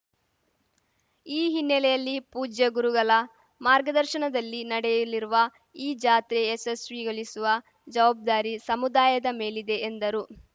ಈ ಹಿನ್ನೆಲೆಯಲ್ಲಿ ಪೂಜ್ಯಗುರುಗಲ ಮಾರ್ಗದರ್ಶನದಲ್ಲಿ ನಡೆಯಲಿರುವ ಈ ಜಾತ್ರೆ ಯಶಸ್ವಿಗೊಲಿಸುವ ಜವಾಬ್ದಾರಿ ಸಮುದಾಯದ ಮೇಲಿದೆ ಎಂದರು